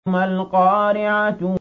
مَا الْقَارِعَةُ